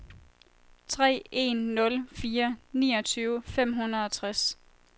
tre en nul fire niogtyve fem hundrede og tres